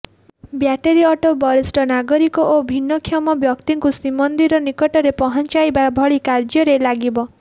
battery auto ବରିଷ୍ଠ ନାଗରିକ ଓ ଭିନ୍ନକ୍ଷମ ବ୍ୟକ୍ତିଙ୍କୁ ଶ୍ରୀମନ୍ଦିର ନିକଟରେ ପହଞ୍ଚାଇବା ଭଳି କାର୍ଯ୍ୟରେ ଲାଗିବ